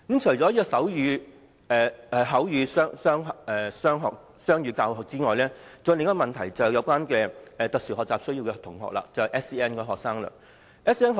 除了手語和口語雙語教學外，還有另一個問題，便是關於有特殊教育需要的同學，即 SEN 學生。